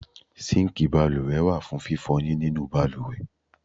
Síǹkì balùwẹ̀ wà fún fífọyín nínu balùwẹ̀.